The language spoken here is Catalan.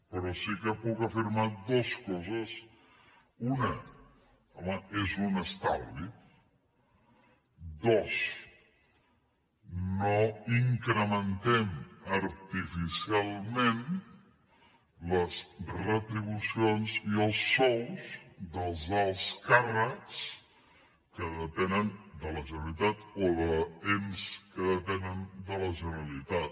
però sí que puc afirmar dues coses una home és un estalvi dos no incrementem artificialment les retribucions i els sous dels alts càrrecs que depenen de la generalitat o d’ens que depenen de la generalitat